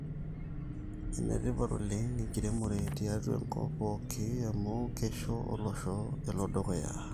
enetipat oleng enkiremore tiatua enkop pooki amu keisho olosho elo dukuya